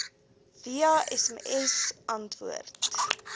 via sms antwoord